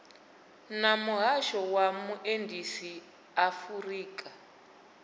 na muhasho wa vhuendisi afurika